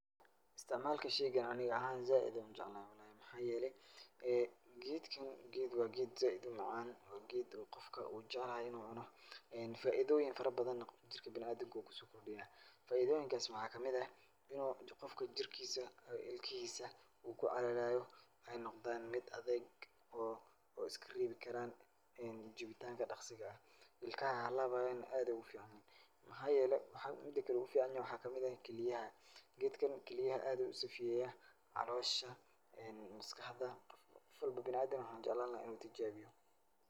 Istacmaalka shaygan ani ahaan zaaid ayaan ujeclahay wallah. Maxaa yeelay geedkan waa geed zaaid u macaan geed oo qofka wuu jecelyahay in uu cuno. Faaidooyin farabadana jirka bina'aadinka wuu kusookordhiyaa. Faidooyinkaas waxaa ka mid ah; inu uu qofka jirkiisa, ilkihiisa uu ku calalaayo ay noqdaan mid adeeg oo oo iska reebikaraan jibitaanka dhakhsiga, ilkaha ha laabaayana aad ayaa ugu ficanyahay. Maxaa yeelay, midkale ugu ficanyahayna waxaay kamid ah keliyaha. Geedka keliyaha aad ayuu u saafiyeyaa, caloosha, maskaxda. Gof walbo bina'aadin ah waxaan jeclaan lahaa in uu tijaabiyo.